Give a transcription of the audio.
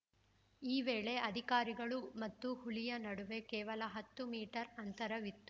ಈ ವೇಳೆ ಅಧಿಕಾರಿಗಳು ಮತ್ತು ಹುಲಿಯ ನಡುವೆ ಕೇವಲ ಹತ್ತು ಮೀಟರ್‌ ಅಂತರವಿತ್ತು